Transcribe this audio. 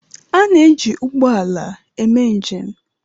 Ana eji ụgbọala eme njem.